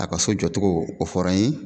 A ka so jɔ cogo o fɔra n ye